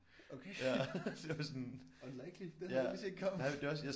Okay unlikely det havde jeg ikke lige set komme